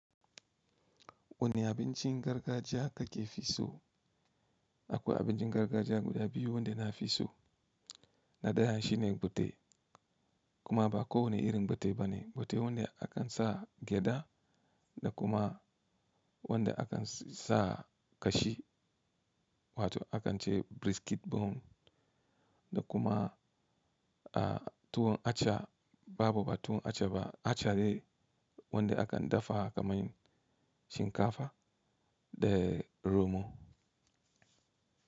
Wane abincin gargajiya ka ke fi so? Akwai abincin gargajiya guda biyu wanda na fi so, na daya shine fate, kuma ba kowane irin fate bane, fate wanda a kan sa gyada da kuma wanda a kan sa ƙashi wato a kan ce brisket buhun da kuma a tuwon aca babu ba tuwon aca ba, aca ne wanda a kan dafawa kamar shinkafa da romo.